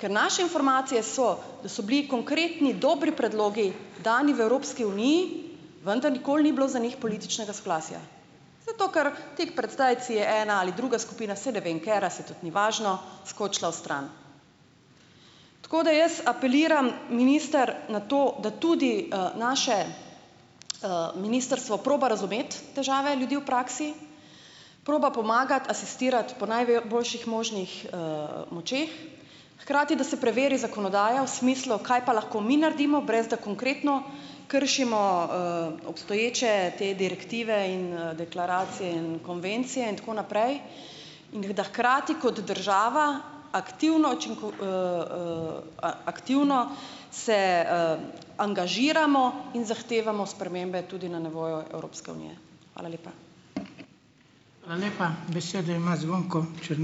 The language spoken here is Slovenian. ker naše informacije so, so bili konkretni dobri predlogi dani v Evropski uniji, vendar nikoli ni bilo za njih političnega soglasja, zato ker tik pred zdajci je ena ali druga skupina, saj ne vem katera, saj tudi ni važno, skočila vstran, tako da jaz apeliram, minister, na to, da tudi naše ministrstvo proba razumeti težave ljudi v praksi, proba pomagati, asistirat po boljših možnih močeh, hkrati da se preveri zakonodajo smislu, kaj pa lahko mi naredimo brez da konkretno kršimo obstoječe te direktive in deklaracije in konvencije in tako naprej, in da hkrati kot država aktivno aktivno se angažiramo in zahtevamo spremembe tudi na nivoju Evropske unije. Hvala lepa. Hvala lepa, besedo ima Zvonko ...